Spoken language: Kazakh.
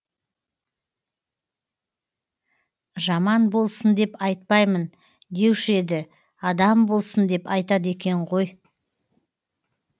жаман болсын деп айтпаймын деуші еді адам болсын деп айтады екен ғой